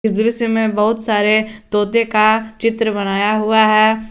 इस दृश्य में बहुत सारे तोते का चित्र बनाया हुआ है।